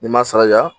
N'i ma saraja